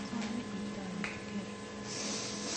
asomee itorote kei